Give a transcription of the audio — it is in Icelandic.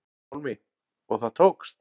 Pálmi: Og það tókst?